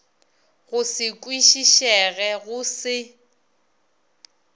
go se kwišišege go se